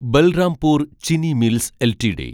Balrampur Chini mills LTD